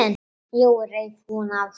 Jói reif húfuna af sér.